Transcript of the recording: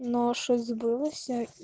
нож и сбылось